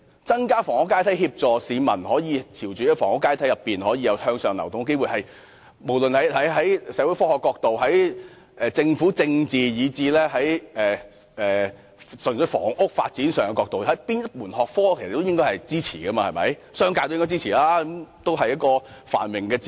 增加房屋階梯，協助市民在房屋階梯上有機會向上流動，不論是從哪個學科角度而言，例如社會科學、政府政治，以至純粹房屋發展，都應該獲得支持，而商界亦應該給予支持，因為這是繁榮的指標。